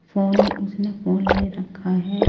Phone उसने phone ले रखा है।